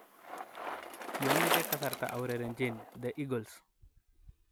Kiomeche kasarta aurerenjin The Eagles.